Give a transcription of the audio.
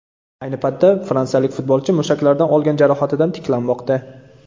Ayni paytda fransiyalik futbolchi mushaklaridan olgan jarohatidan tiklanmoqda .